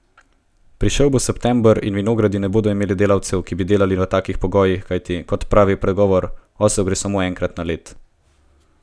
Prišel bo september in vinogradi ne bodo imeli delavcev, ki bi delali v takih pogojih, kajti, kot pravi pregovor, osel gre samo enkrat na led!